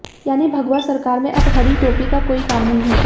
यानी भगवा सरकार में अब हरी टोपी का कोई काम नहीं होगा